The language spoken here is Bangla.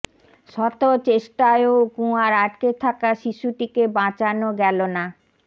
শত চেষ্টায়ও কুয়ায় আটকে থাকা শিশুটিকে বাঁচানো গেল না